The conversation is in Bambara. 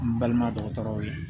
N balima dɔgɔtɔrɔw ye